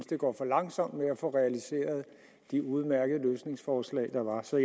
det går for langsomt med at få realiseret de udmærkede løsningsforslag der var så